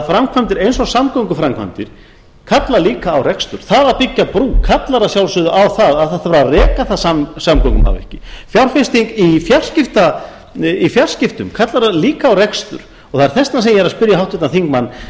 framkvæmdir eins og samgönguframkvæmdir kalla líka á rekstur það að byggja brú kallar að sjálfsögðu á að það þarf að reka það samgöngumannvirki fjárfesting í fjarskiptum kallar líka á rekstur og það er þess vegna sem ég er að spyrja háttvirtan þingmann